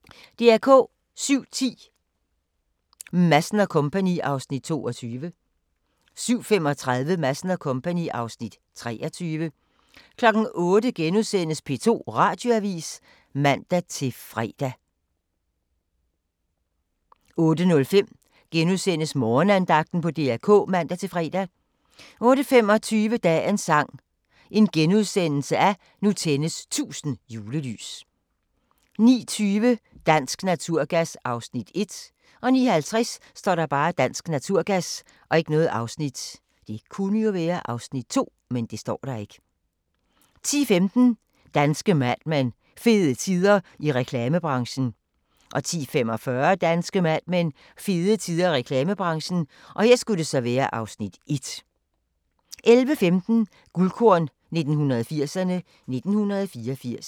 07:10: Madsen & Co. (Afs. 22) 07:35: Madsen & Co. (Afs. 23) 08:00: P2 Radioavis *(man-fre) 08:05: Morgenandagten på DR K *(man-fre) 08:25: Dagens sang: Nu tændes 1000 julelys * 09:20: Dansk Naturgas (Afs. 1) 09:50: Dansk Naturgas 10:15: Danske Mad Men: Fede tider i reklamebranchen 10:45: Danske Mad Men: Fede tider i reklamebranchen (Afs. 1) 11:15: Guldkorn 1980'erne: 1984